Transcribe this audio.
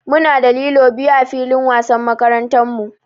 Muna da lilo biyu ã filin wasan makarantan mu.